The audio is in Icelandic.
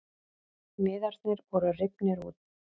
Miðarnir voru rifnir út